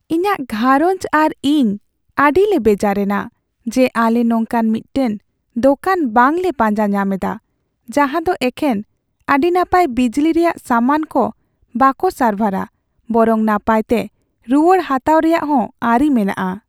ᱤᱧᱟᱹᱜ ᱜᱷᱟᱸᱨᱚᱧᱡᱽ ᱟᱨ ᱤᱧ ᱟᱹᱰᱤᱞᱮ ᱵᱮᱡᱟᱨ ᱮᱱᱟ ᱡᱮ ᱟᱞᱮ ᱱᱚᱝᱠᱟᱱ ᱢᱤᱫᱴᱟᱝ ᱫᱳᱠᱟᱱ ᱵᱟᱝᱞᱮ ᱯᱟᱸᱡᱟ ᱧᱟᱢ ᱮᱫᱟ ᱡᱟᱦᱟᱸᱫᱚ ᱮᱠᱷᱮᱱ ᱟᱹᱰᱤ ᱱᱟᱯᱟᱭ ᱵᱤᱡᱽᱞᱤ ᱨᱮᱭᱟᱜ ᱥᱟᱢᱟᱱ ᱠᱚ ᱵᱚᱠᱚ ᱥᱟᱨᱵᱷᱟᱨᱟ ᱵᱚᱨᱚᱝ ᱱᱟᱯᱟᱭᱛᱮ ᱨᱩᱣᱟᱹᱲ ᱦᱟᱛᱟᱣ ᱨᱮᱭᱟᱜ ᱦᱚᱸ ᱟᱹᱨᱤ ᱢᱮᱱᱟᱜᱼᱟ ᱾